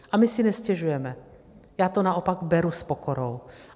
A my si nestěžujeme, já to naopak beru s pokorou.